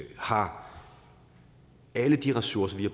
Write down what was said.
har alle de ressourcer vi